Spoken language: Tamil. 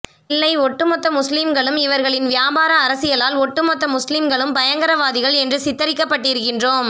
இல்லை ஒட்டுமொத்த முஸ்லிம்களும் இவர்களின் வியாபார அரசியலால் ஒட்டு மொத்த முஸ்லிம்களும் பயங்கரவாதிகள் என்று சித்தரிக்கப்பட்டிருக்கிறோம்